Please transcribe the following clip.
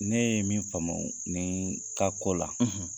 Ne ye min faamuya nin ka ko la..